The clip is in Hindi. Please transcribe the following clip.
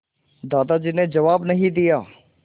दादाजी ने जवाब नहीं दिया